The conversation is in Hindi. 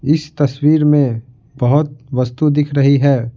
इस तस्वीर में बहुत वस्तु दिख रही है।